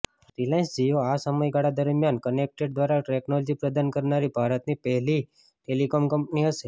Reliance Jio આ સમયગાળા દરમિયાન કનેક્ટેડ કાર ટેકનોલોજી પ્રદાન કરનારી ભારતની પહેલી ટેલિકોમ કંપની હશે